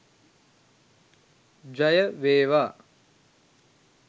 ජය වේවා!.